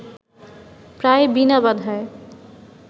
প্রায় বিনা বাধায়